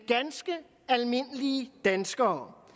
ganske almindelige dansker